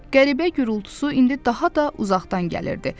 Qəribə gurultusu indi daha da uzaqdan gəlirdi.